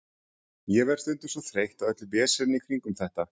Ég verð stundum svo þreytt á öllu veseninu í kringum þetta.